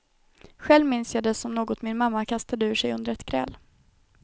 Själv minns jag det som något min mamma kastade ur sig under ett gräl.